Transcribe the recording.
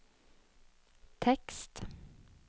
tekst